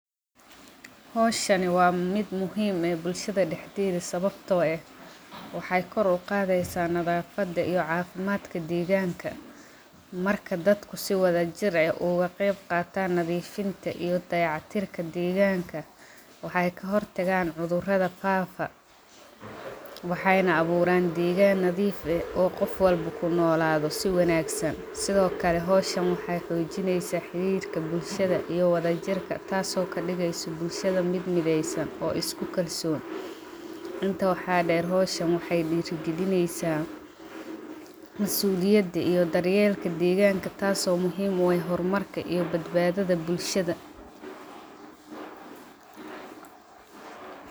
Xowshaani wa mid muxiim eh bulshada daxdeda sawbto eh, waxay kor ugadeysa nadafada iyo cafimadka deganka, marka dadka si wadajir ah ugagebgatan nadifinta iyo dayac tirka deganka, waxay kaxortagan cudurada fafaa, waxayna aburan degan nadiif ah oo gof walba kunolado si wanagsan, xowshaan waxay xojineysa xirirka bulshada iyo wadjirka taaso kadigeysa bulshad mid mideysan oo iskukalson, intaa waxa deer xowshaan waxay dirigalineysa, masuliyada iyo daryelka deganka taaso muxiim u eh xormarka iyo badbadada bulshada.